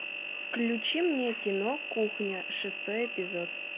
включи мне кино кухня шестой эпизод